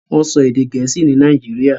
Wọ́n ń sọ èdè Gẹ̀ẹ́sì ni Nàìjíríà.